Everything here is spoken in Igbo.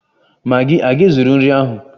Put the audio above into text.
Magi a ga-ezuru nri ahụ?